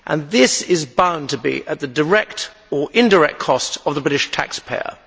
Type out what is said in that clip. This is bound to be at the direct or indirect cost of the British taxpayer.